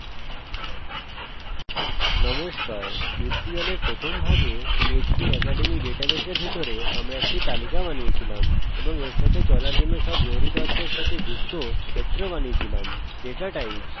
নমস্কার টিউটোরিয়ালের প্রথম ভাগে php academy ডাটাবেসের ভিতরে আমরা একটি তালিকা বানিয়েছিলাম এবং এর সাথে চলার জন্য সব জরুরি তথ্যের সাথে যুক্ত ক্ষেত্র বানিয়েছিলামdatatypes ইত্যাদি